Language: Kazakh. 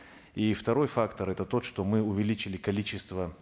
и второй фактор это тот что мы увеличили количество